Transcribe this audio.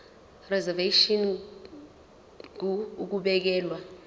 reservation ngur ukubekelwa